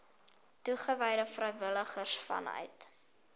toegewyde vrywilligers vanuit